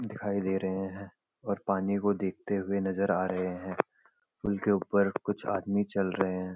दिखाई दे रहे हैं और पानी को देखते हुए नजर आ रहे हैं पुल के ऊपर कुछ आदमी चल रहे हैं।